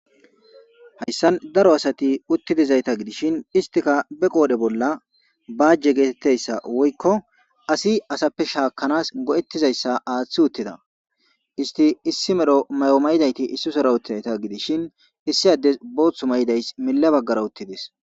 Hayssan daro asati uttidizayta gidishin; istika be qoodhe bolla baajje geetettayssa woykko asi asappe shaakkanas go7ettizayssa aaththi uttida isti issi mero may7o mayidayti issi sora uttizayta gidishin; issi addes boothu mayidays milla baggara uttidis.